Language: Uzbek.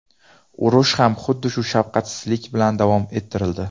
Urush ham xuddi shu shafqatsizlik bilan davom ettirildi.